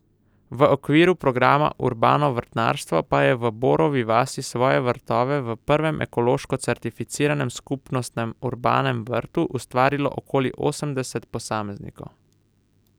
V okviru programa Urbano vrtnarstvo pa je v Borovi vasi svoje vrtove v prvem ekološko certificiranem skupnostnem urbanem vrtu ustvarilo okoli osemdeset posameznikov.